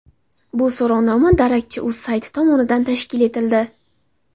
Bu so‘rovnoma darakchi.uz sayti tomonidan tashkil etildi.